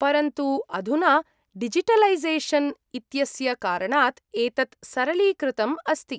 परन्तु अधुना डिजिटलैसेषन् इत्यस्य कारणात् एतत् सरलीकृतम् अस्ति।